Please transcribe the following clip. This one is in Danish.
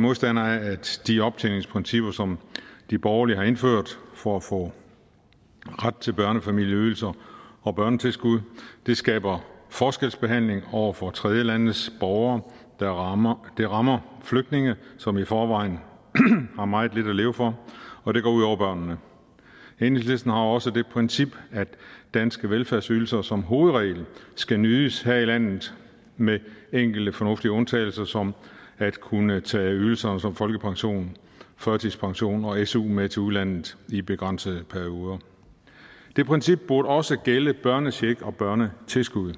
modstandere af at de optjeningsprincipper som de borgerlige har indført for at få ret til børnefamilieydelser og børnetilskud skaber forskelsbehandling over for tredjelandes borgere det rammer det rammer flygtninge som i forvejen har meget lidt at leve for og det går ud over børnene enhedslisten har også det princip at danske velfærdsydelser som hovedregel skal nydes her i landet med enkelte fornuftige undtagelser som at kunne tage ydelser som folkepension førtidspension og su med til udlandet i begrænsede perioder det princip burde også gælde børnecheck og børnetilskud